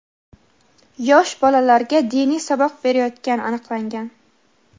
yosh bolalarga diniy saboq berayotgani aniqlangan.